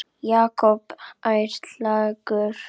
Jakob ærlegur